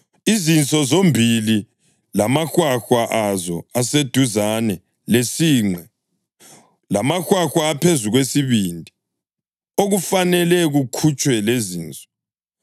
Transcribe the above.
izinso zombili lamahwahwa azo aseduzane lesinqe, lamahwahwa aphezu kwesibindi, okufanele kukhutshwe lezinso.